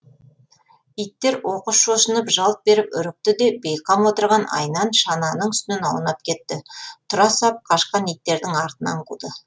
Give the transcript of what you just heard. иттер оқыс шошынып жалт беріп үрікті де бейғам отырған айнан шананың үстінен аунап кетті тұра сап қашқан иттердің артынан қуды